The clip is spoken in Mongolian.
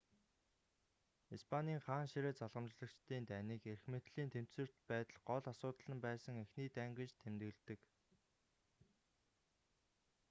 испанийн хаан ширээ залгамжлагчдын дайныг эрх мэдлийн тэнцвэрт байдал гол асуудал нь байсан эхний дайн гэж тэмдэглэдэг